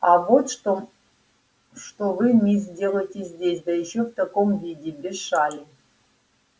а вот что что вы мисс делаете здесь да ещё в таком виде без шали